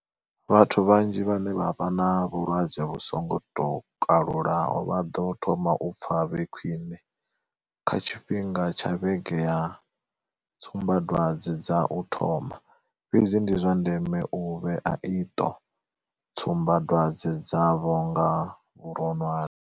Vhathu vhanzhi vhane vha vha na vhulwadze vhu songo tou kalulaho vha ḓo thoma u pfa vhe khwiṋe kha tshifhinga tsha vhege ya tsumbadwadze dza u thoma, fhedzi ndi zwa ndeme u vhea iṱo tsumbadwadze dzavho nga vhuronwane.